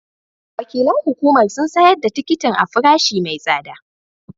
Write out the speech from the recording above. Wakilan hukumar sun sayar da tikitin a farashi mai tsada